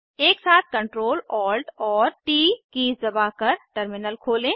एकसाथ Ctrl Alt और T keys दबाकर टर्मिनल खोलें